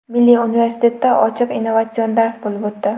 Milliy universitetda ochiq innovatsion dars bo‘lib o‘tdi.